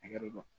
Hakɛ dɔ